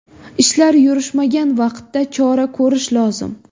Ishlar yurishmagan vaqtda chora ko‘rish lozim.